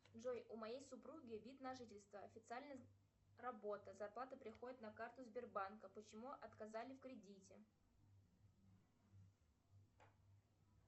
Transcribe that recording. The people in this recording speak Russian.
джой у моей супруги вид на жительство официально работа зарплата приходит на карту сбербанка почему отказали в кредите